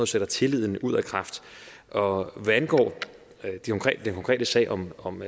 sætter tilliden ud af kraft og hvad angår den konkrete sag om om